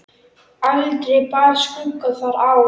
Aldrei bar skugga þar á.